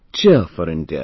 Cheer4India